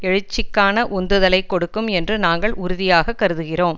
எழுச்சிக்கான உந்துதலைக் கொடுக்கும் என்று நாங்கள் உறுதியாக கருதுகிறோம்